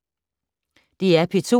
DR P2